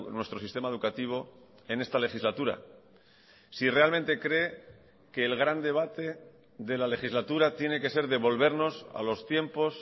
nuestro sistema educativo en esta legislatura si realmente cree que el gran debate de la legislatura tiene que ser devolvernos a los tiempos